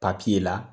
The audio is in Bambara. papiye la